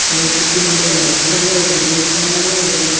सड़क के किनारे होटल है होटल बहुत बड़ा है होटल --